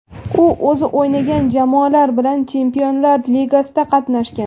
U o‘zi o‘ynagan jamoalar bilan Chempionlar ligasida qatnashgan.